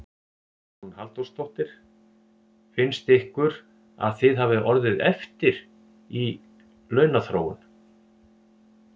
Hugrún Halldórsdóttir: Finnst ykkur að þið hafið orðið eftir í, í launaþróun?